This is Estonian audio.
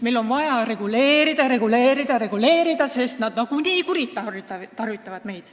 Meil on vaja reguleerida, reguleerida, reguleerida, sest nagunii meie usaldust kuritarvitatakse.